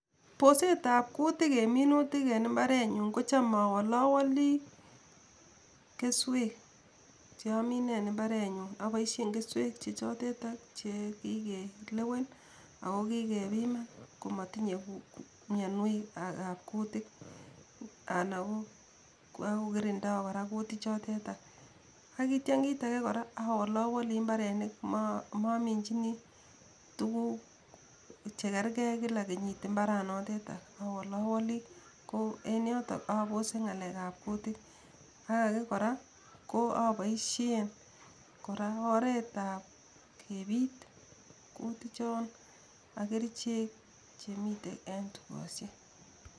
Bosetab kutik en minutik en mbarenyun kocham awolowoli keswek che amine en mbarenyu, aboisyen keswek che choteta che kikelewen ako kikepiman komatinye mionwekab kutik ako kirindoi kora kutichoteta , akitya kiit age kora awalowoli mbarenik mominjini tuguk chekerkei kila kenyit mbarenoteta, awolowoli ko en yoto abose ngalekab kutik ak age kora aboisien oretab kepit kutichon ak kerichek chemitei en tukosiek.